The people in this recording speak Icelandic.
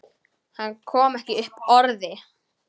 Hann kom ekki upp orði.